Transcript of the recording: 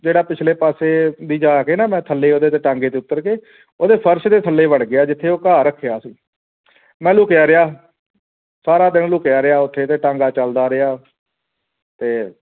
ਜਿਹੜਾ ਪਿਛਲੇ ਪਾਸੇ ਦੀ ਜਾ ਕੇ ਨਾ ਥੱਲੇ ਉਹਦੇ ਜਾ ਕੇ ਨਾ ਟਾਂਗੇ ਦੇ ਉਤਰ ਕੇ ਉਹਦੇ ਫਰਸ਼ ਦੇ ਥੱਲੇ ਵੜ ਗਿਆ ਜਿੱਥੇ ਉਹ ਕਾਂਹ ਰੱਖਿਆ ਸੀ ਮੈਂ ਲੁਕਿਆ ਰਿਹਾ ਸਾਰਾ ਦਿਨ ਲੁਕਿਆ ਰਿਹਾ ਉਥੇ ਤੇ ਟਾਂਗਾ ਚੱਲਦਾ ਰਿਹਾ ਤੇ